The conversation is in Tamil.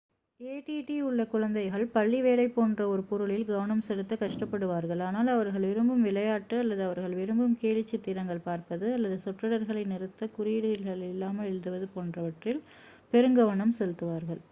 ஏ டி டி உள்ள குழந்தைகள் பள்ளி வேலை போன்ற ஒரு பொருளில் கவனம் செலுத்தக் கஷ்டப்படுவார்கள் ஆனால் அவர்கள் விரும்பும் விளையாட்டு அல்லது அவர்கள் விரும்பும் கேலிச் சித்திரங்கள் பார்ப்பது அல்லது சொற்றொடர்களை நிறுத்தக் குறியீடுகளில்லாமல் எழுதுவது போன்றவற்றில் பெருங்கவனம் செலுத்துவார்கள்